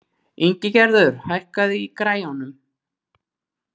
Ingigerður, hækkaðu í græjunum.